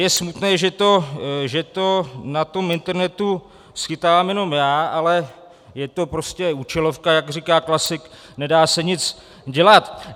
Je smutné, že to na tom internetu schytávám jenom já, ale je to prostě účelovka, jak říká klasik, nedá se nic dělat.